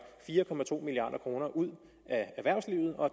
fire milliard kroner ud af erhvervslivet og